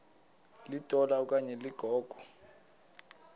litola okanye ligogo